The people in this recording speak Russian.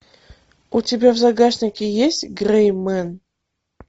у тебя в загашнике есть грей мен